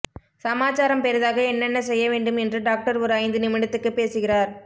சமாச்சாரம் பெரிதாக என்னென்ன செய்ய வேண்டும் என்று டாக்டர் ஒரு ஐந்து நிமிடத்துக்கு பேசுகிறார்